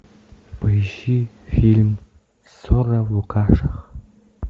поищи фильм ссора в лукашах